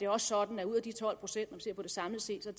også sådan at ud af de tolv procent når man ser på det samlet set er